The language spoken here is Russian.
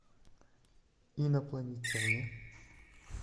инопланетяне